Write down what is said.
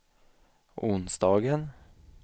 onsdagen